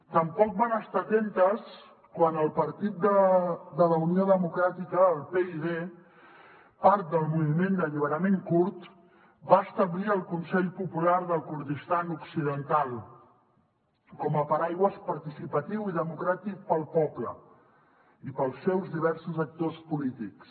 tampoc van estar atentes quan el partit de la unió democràtica el pyd part del moviment d’alliberament kurd va establir el consell popular del kurdistan occidental com a paraigua participatiu i democràtic per al poble i per als seus diversos actors polítics